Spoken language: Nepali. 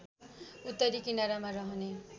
उत्तरी किनारामा रहने